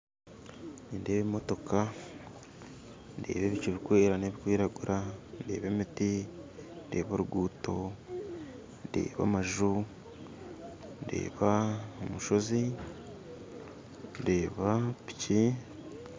Nindeeba emotoka ndeeba ebicu bikwera n'ebikwiragura ndeeba emiti ndeeba oruguuto ndeeba amanu ndeeda omushoozi ndeeba piiki